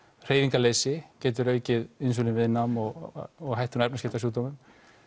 hreyfingarleysi getur aukið insúlín viðnám og og hættuna á efnaskiptasjúkdómum